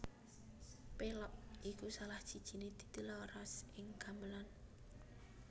Pélog iku salah sijiné titilaras ing gamelan